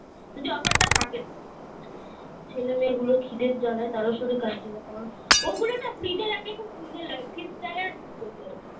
যদি offer টা থাকে তো ছেলে মেয়ে গুলো খিদের জ্বালায় তারস্বরে কাঁদছিলো ও গুলোনা fridge এ রাখলে খুব সুন্দর লাগে crystal এর বোতল